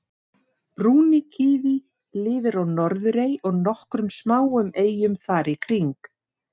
brúni kíví lifir á norðurey og nokkrum smáum eyjum þar í kring